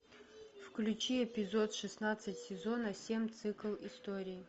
включи эпизод шестнадцать сезона семь цикл истории